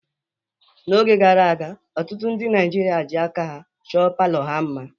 N'oge gara aga, ọtụtụ ndị Naịjirịa ji aka ha chọọ palọ ha mma.